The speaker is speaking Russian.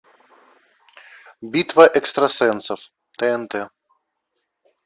битва экстрасенсов тнт